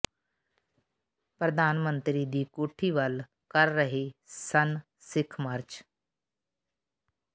ਪ੍ਰਧਾਨ ਮੰਤਰੀ ਦੀ ਕੋਠੀ ਵੱਲ ਕਰ ਰਹੇ ਸਨ ਸਿੱਖ ਮਾਰਚ